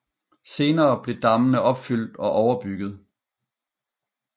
Senere blev dammene opfyldt og overbygget